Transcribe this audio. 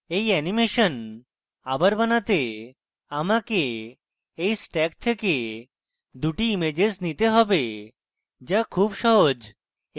এই অ্যানিমেশন আবার বানাতে আমাকে এই stack থেকে দুটি ইমেজেস নিতে have to খুব সহজ